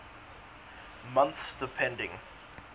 months depending